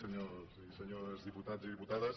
senyors i senyores diputats i diputades